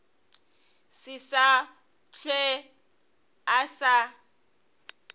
se sa hlwe a sa